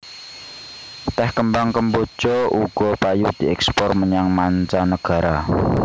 Tèh kembang kemboja uga payu dièkspor menyang manca negara